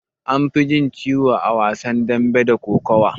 Anfi jin ciwo a wasan dambe da kokawa.